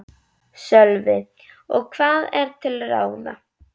Sölvi: Og hvað er til ráða?